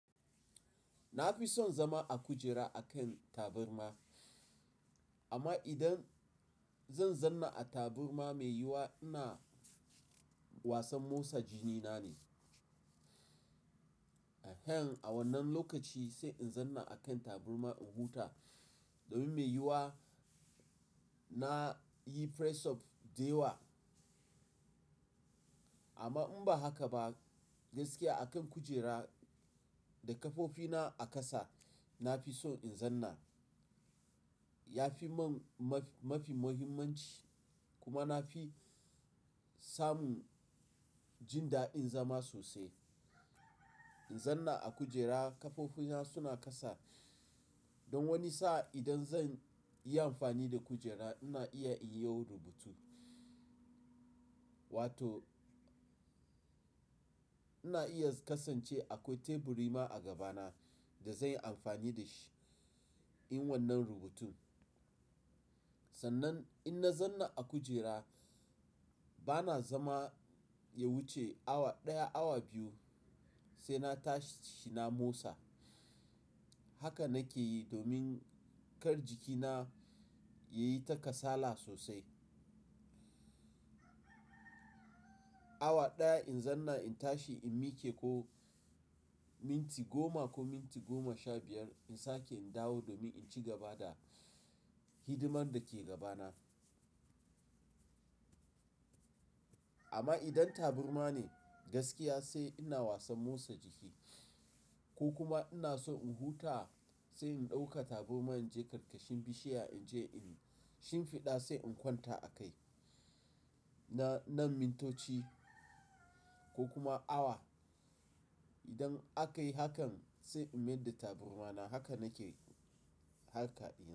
Na fi son zama a kujera a kan tabarma, amma idan zan zanna a tabarma mai yiwuwa ina wasan motsa jini na ne. A wannan lokaci sai in zanna a kan tabarma in huta domin mai yiwuwa na yi press up da yawa. Amma in ba haka ba gaskiya a kan kujera da kafofina a ƙasa na fi so in zanna. Ya fi mun mafi muhimmanci kuma na fi samun jin daɗin zama sosai. In zanna a kujera kafofina suna ƙasa don wani sa'a idan zan yi amfani da kujera ina iya in yau rubutu. Wato ina iya kasance akwai teburi ma a gabana da zanyi amfani da shi yin wannan rubutun. Sannan in na zanna a kujera bana zama ya wuce awa ɗaya, awa biyu sai na tashi na motsa. Haka nake yi domin kar jikina yayi ta kasala sosai. Awa ɗaya in zanna in tashi in miƙe ko minti goma ko minti goma sha biyar in sake in dawo domin in ci gaba da hidimar da ke gabana. Amma idan taburma ne gaskiya sai ina wasan motsa jiki ko kuma ina so in huta sai in ɗauka taburma in je karkashin bishiya inje in shimfiɗa sai in kwanta a kai na nan mintoci ko kuma awa. Idan akayi hakan sai in mayar da tabarma na. Haka nake harka dina.